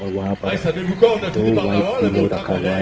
वहां पर दो व्हाइट पिलो रखा हुआ है।